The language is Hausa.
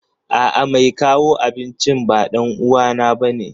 A'a, mai kawo abincin ba ɗan uwana bane.